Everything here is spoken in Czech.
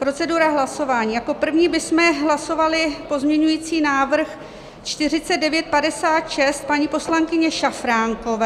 Procedura hlasování: Jako první bychom hlasovali pozměňovací návrh 4956 paní poslankyně Šafránkové.